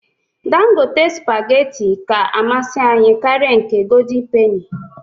Dangote spageti ka amasị anyị karịa nke goldịn peni